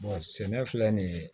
sɛnɛ filɛ nin ye